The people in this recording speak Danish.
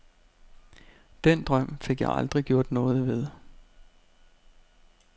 Den drøm fik jeg aldrig gjort noget ved.